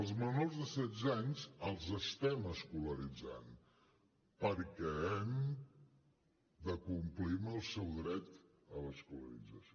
els menors de setze anys els estem escolaritzant perquè hem de complir amb el seu dret a l’escolarització